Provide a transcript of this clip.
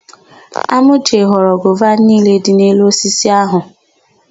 Amauche ghọrọ gova niile dị n'elu osisi áhụ̀.